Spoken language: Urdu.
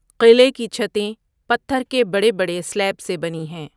قلعے کی چھتیں پتھر کے بڑے بڑے سلیب سے بنی ہیں۔